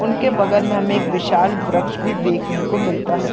उनके बगल मे हमे एक विशाल वृक्ष भी देखने को मिलता है।